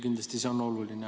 Kindlasti on see oluline.